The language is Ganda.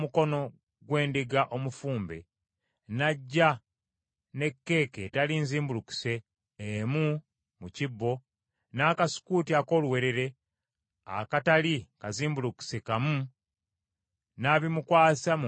“Omunnazaalayiti bw’anaamalanga okumwa omutwe gwe ogw’obuwonge bwe, kabona anaddiranga omukono gw’endiga omufumbe, n’aggya ne kkeeke etali nzimbulukuse emu mu kibbo, n’akasukuuti ak’oluwewere akatali kazimbulukuse kamu, n’abimukwasa mu ngalo ze.